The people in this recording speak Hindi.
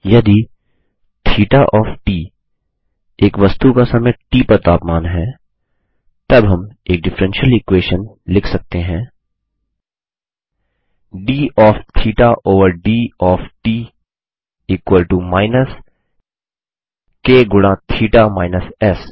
यदि थीटा ऑफ़ ट एक वस्तु का समय ट पर तापमान है तब हम एक डिफ्फ्रेंशियल इक्वेशन लिख सकते हैं d of theta over d of t equal to minus k गुणा थीटा माईनस एस